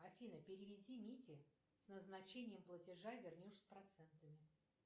афина переведи мите с назначением платежа вернешь с процентами